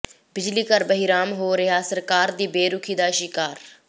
ਬਿਜਲੀ ਘਰ ਬਹਿਰਾਮ ਹੋ ਰਿਹਾ ਸਰਕਾਰ ਦੀ ਬੇਰੁਖ਼ੀ ਦਾ ਸ਼ਿਕਾਰ